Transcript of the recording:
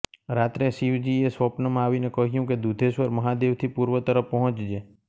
રાત્રે શિવજીએ સ્વપ્નમા આવીને કહ્યું કે દુધેશ્વર મહાદેવથી પૂર્વ તરફ પહોંચજે